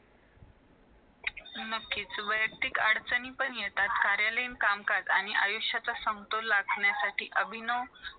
आईचे जे उपकार असतात जाणीव असतात किंवा जे आई कष्ट करते त्याची जरा किंमत असते डोळे पुसतो नंतर मग त्याच्या आई तरी पण मरते म्हणजे त्यांनी ते दाखवलाय कि तू तुझे हात धरून रडतो मग खाली पडतो त्यानंतर